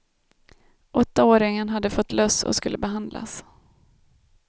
Åttaåringen hade fått löss och skulle behandlas.